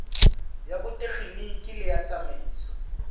ya botekgeniki le ya tsamaiso